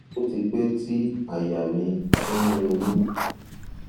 ó ti pẹ tí àyà mi ti ń ro mí